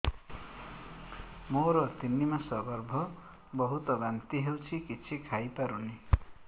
ମୋର ତିନି ମାସ ଗର୍ଭ ବହୁତ ବାନ୍ତି ହେଉଛି କିଛି ଖାଇ ପାରୁନି